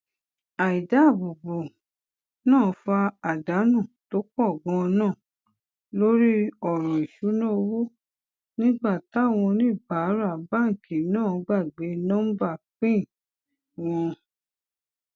àìdáàbòbò náà fa àdánù tó pò ganan lórí òràn ìṣúnná owó nígbà táwọn oníbàárà báńkì náà gbàgbé nóńbà pin wọn